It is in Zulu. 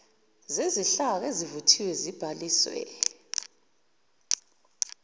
zezinhlaka esezivuthiwe ezibhalisiwe